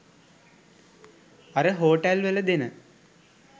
අර හෝටල් වල දෙන